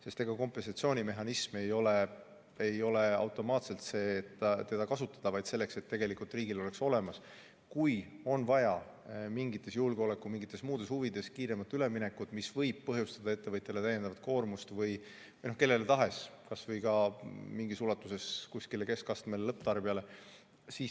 Sest ega kompensatsioonimehhanism ei ole automaatselt selleks, et seda kasutada, vaid selleks, et riigil oleks see olemas, kui on vaja mingites julgeoleku- või muudes huvides kiiremat üleminekut, mis võib põhjustada täiendavat koormust ettevõtjale või kellele tahes, kas või mingis ulatuses keskastme ja lõpptarbijale.